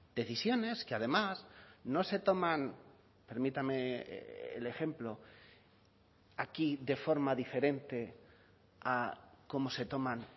decisiones que además no se toman permítame el ejemplo aquí de forma diferente a como se toman